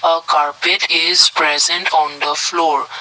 a carpet is present on the floor.